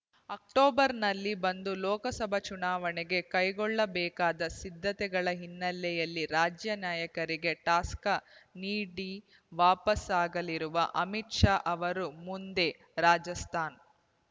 ಅಕ್ಟೋಬರ್‌ನಲ್ಲಿ ಬಂದು ಲೋಕಸಭಾ ಚುನಾವಣೆಗೆ ಕೈಗೊಳ್ಳಬೇಕಾದ ಸಿದ್ಧತೆಗಳ ಹಿನ್ನೆಲೆಯಲ್ಲಿ ರಾಜ್ಯ ನಾಯಕರಿಗೆ ಟಾಸಕ್ ನೀಡಿ ವಾಪಸಾಗಲಿರುವ ಅಮಿತ್‌ ಶಾ ಅವರು ಮುಂದೆ ರಾಜಸ್ಥಾನ್‌